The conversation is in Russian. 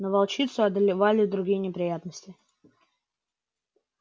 но волчицу одолевали другие неприятности